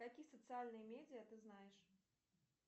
какие социальные медиа ты знаешь